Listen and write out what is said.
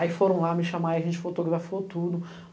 Aí foram lá me chamar, a gente fotografou tudo.